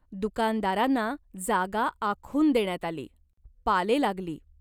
दुकानदारांना जागा आखून देण्यात आली. पाले लागली.